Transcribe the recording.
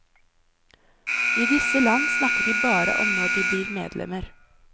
I disse land snakker de bare om når de blir medlemmer.